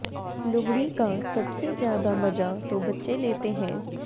लोहड़ी का सबसे ज्यादा मजा तो बच्चे लेते हैं